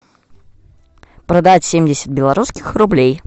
продать семьдесят белорусских рублей